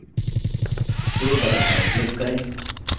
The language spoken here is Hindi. save button पर click करें